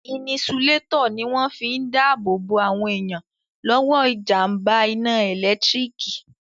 Inisulétọ̀ ní wọ́n fi n dá ààbò bo àwọn èèyàn lọ́wọ́ jàmbá iná ẹ̀lẹ́tírík